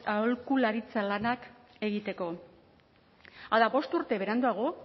aholkularitza lanak egiteko hala bost urte beranduago